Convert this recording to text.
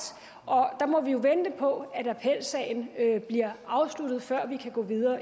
og der må vi jo vente på at appelsagen bliver afsluttet før vi kan gå videre